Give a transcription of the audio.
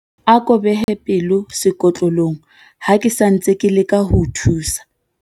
Ako behe pelo sekotlolong ha ke sa ntse ke leka ho o thusa.